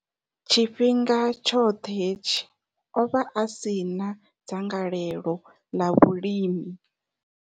Tshifhinga tshoṱhe hetshi, o vha a si na dzangalelo ḽa vhulimi.